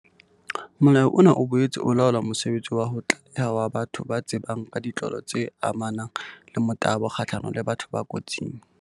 Molao ona o boetse o laola mosebetsi wa ho tlaleha wa batho ba tsebang ka ditlolo tse amanang le motabo kgahlano le batho ba kotsing.